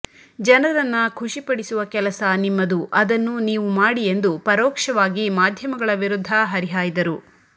ಜನರನ್ನ ಖುಷಿ ಪಡಿಸುವ ಕೆಲಸ ನಿಮ್ಮದು ಅದನ್ನು ನೀವು ಮಾಡಿ ಎಂದು ಪರೋಕ್ಷವಾಗಿ ಮಾಧ್ಯಮಗಳ ವಿರುದ್ಧ ಹರಿಹಾಯ್ದರು